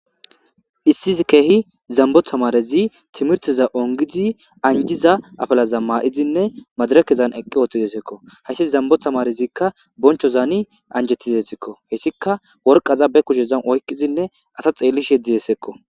Issizi keehi zambo tamarezi timirtiza ongizi anjiza afalaza maa7izinne madarakezan eqqi ooththidesekko hayssi zambo tamarezikka bonchozaani anjetizesekko heyssika worqaza be kushezan oyqizinne asa xeellish yeddidesekko.